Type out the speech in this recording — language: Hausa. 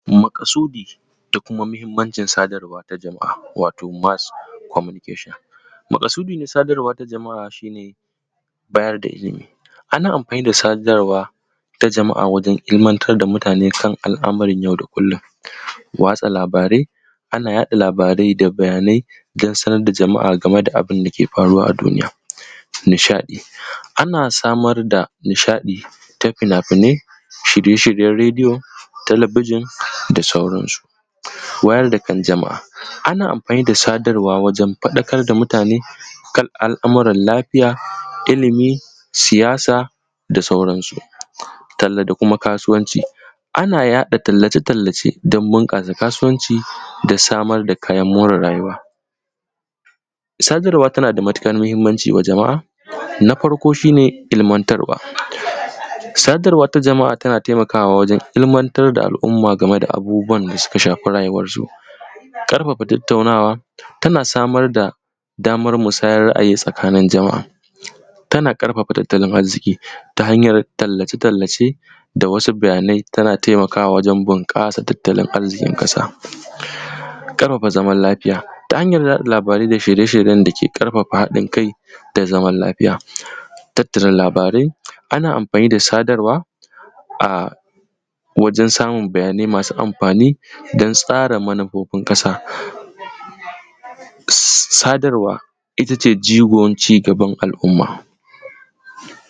Maƙasudi da kuma muhimmacin sadarwa ta jama’a wato mass communication. Maƙasudi ta sadarwa shi ne bayar da ilimi, ana amfani da sadarwa ta jama’a wajen ilmantar da mutane, son al’amuran yau da kullum, watsa labarai, ana yaɗa labarai da bayanai don sanar da jama’a abin da ke faruwa a duniya. Nishaɗi, ana samar da nishaɗi ta fina-finai, shirye-shiryen rediyo, talabijin da sauransu. Wayar da kan jama’a, ana amfani da sadarwa wajen faɗakar da mutane al’amuran lafiya, ilimi, siyasa da sauransu. Talla da kuma kasuwanci, ana yaɗa tallace-tallace don bunƙasa kasuwanci da samar da kayan more rayuwa, sadarwa tana da matuƙar muhimmanci wa jama’a, na farko shi ne ilmantarwa, sadarwa ta jama’a tana matuƙar taimakawa wajen ilmantar da al’umma game da abubuwan da suka shafi rayuwarsu. ƙarfafa tattaunawa tana samar da damar musayar ra’ayi tsakanin jama’a, tana ƙarfafa tattalin arziki ta hanyar tallace-tallace da wasu bayanai, tana taimakawa wajen bunƙasa tattalin arzikin ƙasa, ƙarfafa zaman lafiya ta hanyar yaɗa labarai da shirye-shiryen da ke ƙarfafa haɗin kai da zaman lafiya. Tattara labarai, ana amfani da sadarwa a wajen samun bayanai masu amfani don tsarin manufofin ƙasa, sadarwa ita ce jigon cigaban al’umma.